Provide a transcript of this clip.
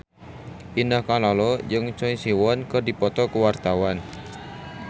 Indah Kalalo jeung Choi Siwon keur dipoto ku wartawan